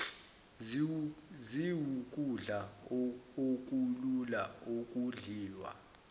ziwukudla okulula okudliwa